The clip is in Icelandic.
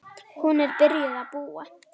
Hún er byrjuð að búa!